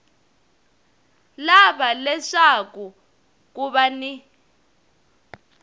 lava leswaku ku va ni